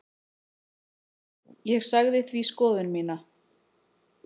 Ég sagði því skoðun mína.